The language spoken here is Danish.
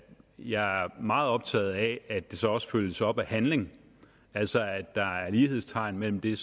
jeg er meget optaget af at det så også følges op af handling altså at der er lighedstegn mellem det